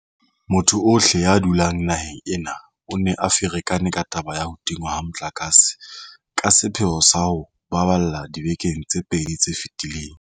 Motho ohle ya dulang naheng ena o ne a ferekane ke taba ya ho tingwa ha motlakase ka sepheo sa ho o baballa dibekeng tse pedi tse fetileng.